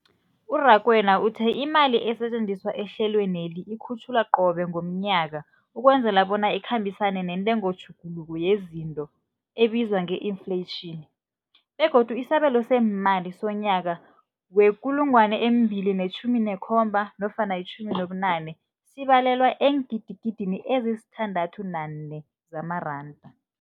U-Rakwena uthe imali esetjenziswa ehlelweneli ikhutjhulwa qobe ngomnyaka ukwenzela bona ikhambisane nentengotjhuguluko yezinto ebizwa nge-infleyitjhini, begodu isabelo seemali somnyaka we-2017 nofana 18 sibalelwa eengidigidini ezisi-6.4 zamaranda.